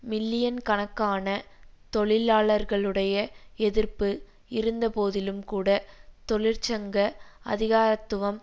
மில்லியன்கணக்கான தொழிலாளர்களுடைய எதிர்ப்பு இருந்த போதிலும்கூட தொழிற்சங்க அதிகாரத்துவம்